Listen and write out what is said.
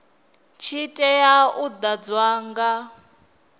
tshi tea u ḓadzwa nga